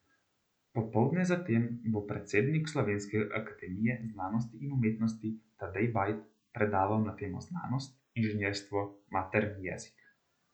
Popoldne zatem bo predsednik Slovenske akademije znanosti in umetnosti Tadej Bajd predaval na temo Znanost, inženirstvo, materni jezik.